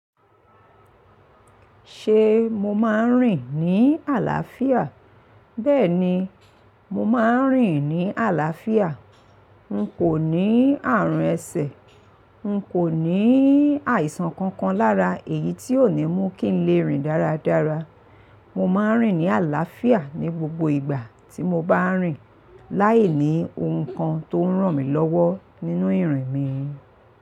Ṣe mo máa ń rìn ní àlàáfíà? Bẹ́ẹ̀ni, mo máa ń rìn ní àlàáfíà. N kò ní ààrùn ẹsẹ̀, n kò ní àìsàn kankan lára èyí tí ó ní mú kí n lè rìn dáradára. Mo máa ń rìn ní àlàáfíà ní gbogbo ìgbà tí mo bá ń rìn. Láìní ohun kan tó ń ràn mí lọ́wọ́ nínú ìrìn mi.